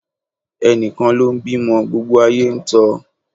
Ẹni kan ló ń bímọ, gbogbo ayéló ń tọ́ ọ.